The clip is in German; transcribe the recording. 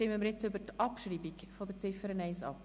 Dann stimmen wir jetzt über die Abschreibung der Ziffer 1 ab.